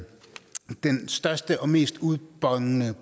den største og mest udbonende